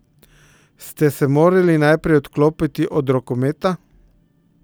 Ste se morali najprej odklopiti od rokometa?